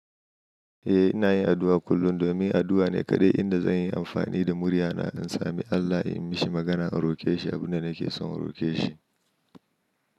Eh ina yin addu'a kullum domin addu'a ne kaɗai inda zan yi amfani da muryana in sami Allah ya yi mishi magana in roƙe shi abin da nake son roƙe shi.